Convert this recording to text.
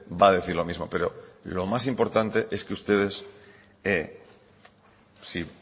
va a decir lo mismo pero lo más importante es que ustedes si